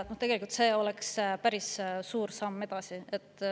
Ma usun, et see oleks päris suur samm edasi.